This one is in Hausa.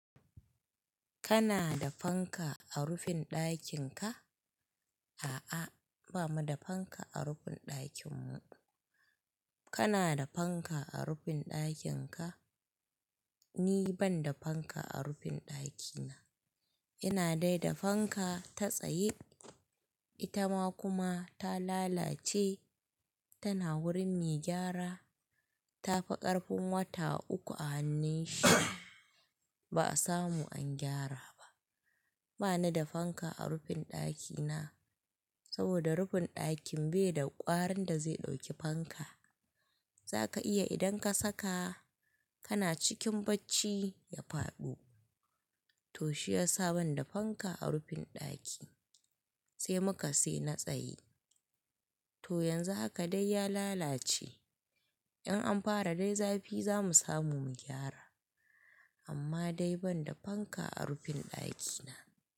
Kana da fanka a rufin ɗakin ka? A'a, ba mu da fanka a rufin ɗakin mu. Kana da fanka a rufin ɗakin ka? Ni ban da fanka a rufin ɗakina. Ina dai da fanka ta tsayi. Ita ma kuma ta lalace. Tana wurin mai gyara. Ta fi ƙarfin wata uku a hannun shi, ba a samu an gyara ba. Bana da fanka a rufin ɗakina saboda rufin ɗakin bai da ƙwarin da zai ɗauki fanka. Zaka iya idan ka saka, kana cikin bacci, ya faɗo. To shiyasa ban da fanka a rufin ɗaki, sai muka sayi na tsaye. To yanzu haka dai ya lalace. In an fara dai zafi za mu samu mu gyara. Amma dai ban da fanka a rufin ɗakina.